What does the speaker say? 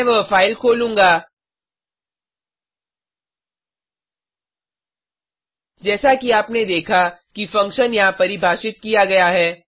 मैं वह फाइल खोलूँगा जैसा कि आपने देखा कि फंक्शन यहां परिभाषित किया गया है